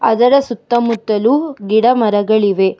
ಅದರ ಸುತ್ತ ಮುತ್ತಲು ಗಿಡ ಮರಗಳಿವೆ.